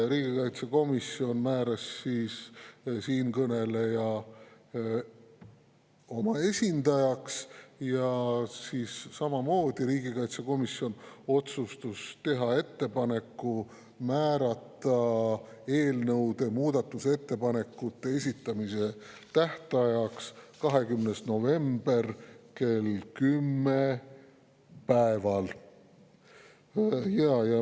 Riigikaitsekomisjon määras siinkõneleja oma esindajaks ja otsustas teha ettepaneku määrata eelnõu muudatusettepanekute esitamise tähtajaks 20. november kell 10.